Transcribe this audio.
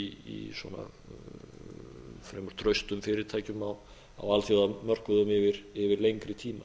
í fremur traustum fyrirtækjum á alþjóðamörkuðum yfir lengri tíma